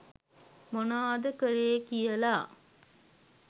මොනාද කළේ කියලා.